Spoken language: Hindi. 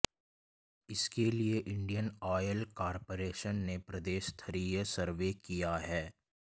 इसके लिए इंडियन ऑयल कारपोरेशन ने प्रदेश स्तरीय सर्वे किया है